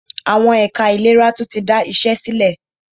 Àwọn ẹ̀ka ìlera tún tí da iṣé sílẹ̀.